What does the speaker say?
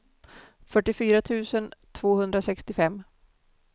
fyrtiofyra tusen tvåhundrasextiofem